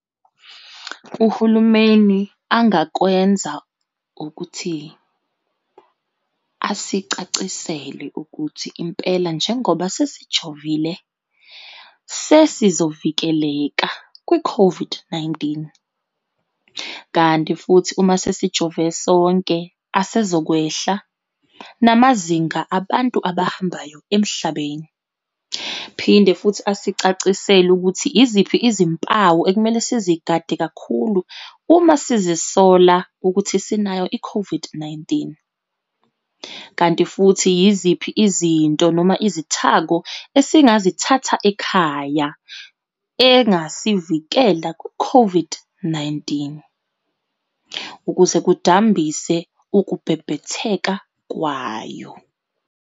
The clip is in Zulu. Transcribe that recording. Uhulumeni angakwenza, ukuthi asicacisele ukuthi impela, njengoba sesejovile sesizovikeleka kwi-COVID-19. Kanti futhi uma sesijove sonke, asezokwehla namazinga abantu abahambayo emhlabeni. Phinde futhi asicacisele ukuthi iziphi izimpawu ekumele sizigade kakhulu uma sizisola ukuthi sinayo i-COVID-19. Kanti futhi yiziphi izinto, noma izithako esingazithatha ekhaya engasivikela ku-COVID-19, ukuze kudambise ukubhebhetheka kwayo.